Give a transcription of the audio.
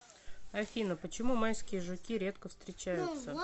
афина почему майские жуки редко встречаются